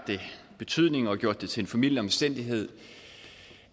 betydning og gjort til en formidlende omstændighed